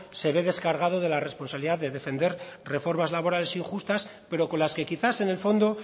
se ve descargado de la responsabilidad de defender reformas laborales injustas pero con las que quizás en el fondo